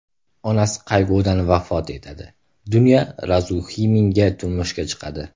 Onasi qayg‘udan vafot etadi, Dunya Razumixinga turmushga chiqadi.